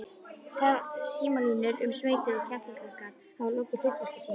Símalínur um sveitir og Kerlingarskarð hafa lokið hlutverki sínu.